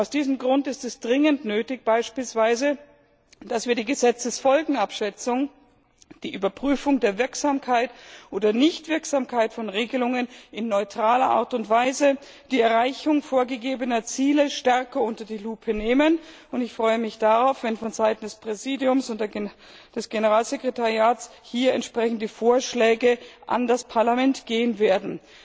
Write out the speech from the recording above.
Aus diesem Grund ist es dringend nötig, dass wir beispielsweise die Gesetzesfolgenabschätzung, die Überprüfung der Wirksamkeit oder Nichtwirksamkeit von Regelungen in neutraler Art und Weise, die Erreichung vorgegebener Ziele stärker unter die Lupe nehmen, und ich freue mich darauf, wenn vonseiten des Präsidiums und des Generalsekretariats hier entsprechende Vorschläge an das Parlament gehen werden.